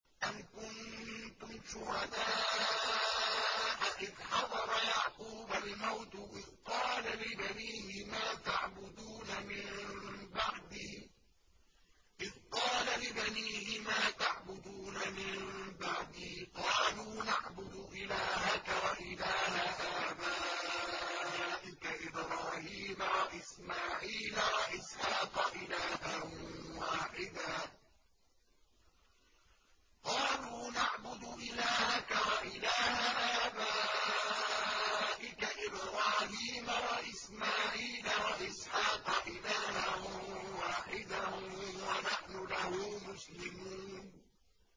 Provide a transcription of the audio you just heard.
أَمْ كُنتُمْ شُهَدَاءَ إِذْ حَضَرَ يَعْقُوبَ الْمَوْتُ إِذْ قَالَ لِبَنِيهِ مَا تَعْبُدُونَ مِن بَعْدِي قَالُوا نَعْبُدُ إِلَٰهَكَ وَإِلَٰهَ آبَائِكَ إِبْرَاهِيمَ وَإِسْمَاعِيلَ وَإِسْحَاقَ إِلَٰهًا وَاحِدًا وَنَحْنُ لَهُ مُسْلِمُونَ